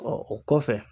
o kɔfɛ